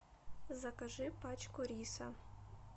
закажи пачку риса